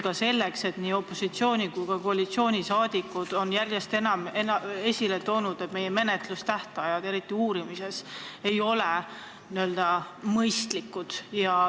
Ka on nii opositsiooni kui ka koalitsiooni saadikud järjest enam viidanud, et meie menetlustähtajad ei ole juhtumite uurimises eriti mõistlikud.